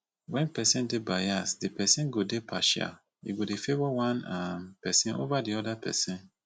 when person dey bias di person go dey partial e go dey favour one um person over oda person